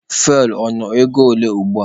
Fuwel ọ nọ ego ole ugbua?